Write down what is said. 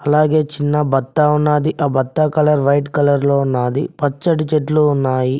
అలాగే చిన్న బత్తా ఉన్నది ఆ బత్తా కలర్ వైట్ కలర్ లో ఉన్నది పచ్చడి చెట్లు ఉన్నాయి.